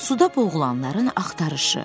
Suda boğulanların axtarışı.